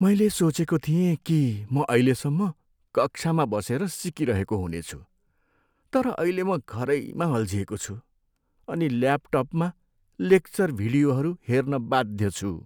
मैले सोचेको थिएँ कि म अहिलेसम्म कक्षामा बसेर सिकिरहेको हुनेछु, तर अहिले म घरैमा अल्झिएको छु अनि ल्यापटपमा लेक्चर भिडियोहरू हेर्न बाध्य छु।